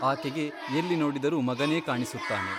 ಆಕೆಗೆ ಎಲ್ಲಿ ನೋಡಿದರೂ ಮಗನೇ ಕಾಣಿಸುತ್ತಾನೆ.